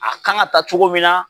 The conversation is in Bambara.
A kan ka taa cogo min na